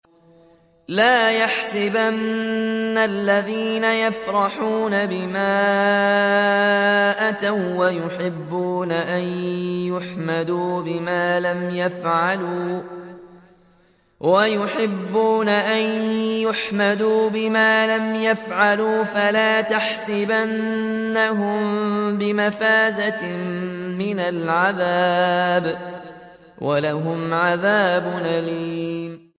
لَا تَحْسَبَنَّ الَّذِينَ يَفْرَحُونَ بِمَا أَتَوا وَّيُحِبُّونَ أَن يُحْمَدُوا بِمَا لَمْ يَفْعَلُوا فَلَا تَحْسَبَنَّهُم بِمَفَازَةٍ مِّنَ الْعَذَابِ ۖ وَلَهُمْ عَذَابٌ أَلِيمٌ